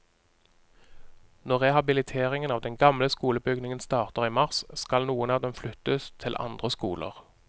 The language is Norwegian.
Når rehabiliteringen av den gamle skolebygningen starter i mars, skal noen av dem flyttes til andre skoler.